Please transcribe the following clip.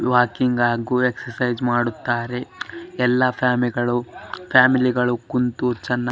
walking ಹಾಗು exercise ಮಾಡುತ್ತಾರೆ ಎಲ್ಲ ಫ್ಯಾಮಿಲಿ ಗಳು ಫ್ಯಾಮಿಲಿ ಗಳು ಕುಂತು ಚೆನ್ನ --